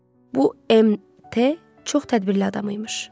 Bu MT çox tədbirli adam imiş.